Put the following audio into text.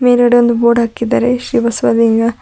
ಎರಡೊಂದು board ಹಾಕಿದ್ದಾರೆ ಶ್ರೀ ಬಸವಯ್ಯ--